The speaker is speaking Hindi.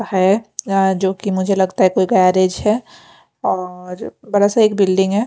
है यहाँ जोकि मुझे लगता है कोई गैरेज है और बड़ा सा एक बिल्डिंग है।